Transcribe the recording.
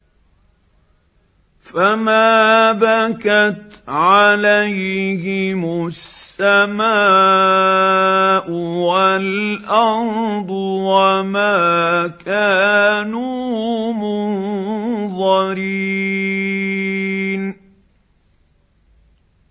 فَمَا بَكَتْ عَلَيْهِمُ السَّمَاءُ وَالْأَرْضُ وَمَا كَانُوا مُنظَرِينَ